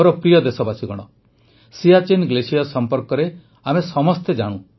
ମୋର ପ୍ରିୟ ଦେଶବାସୀଗଣ ସିୟାଚୀନ ଗ୍ଲେସିୟର୍ ସମ୍ପର୍କରେ ଆମେ ସମସ୍ତେ ଜାଣୁ